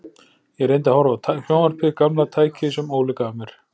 Ég reyndi að horfa á sjónvarpið, gamla tækið sem Óli gaf mér.